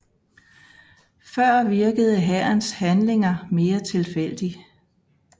Før virkede hærens handlinger mere tilfældig